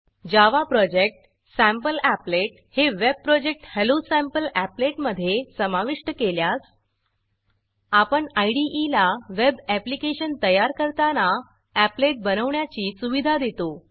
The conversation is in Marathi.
जावा प्रोजेक्ट सॅम्पलीपलेट सॅम्पल अपलेट हे web project hello sample applet hello sample अपलेटमधे समाविष्ट केल्यास आपण इदे ला वेब ऍप्लिकेशन तयार करताना एपलेट बनवण्याची सुविधा देतो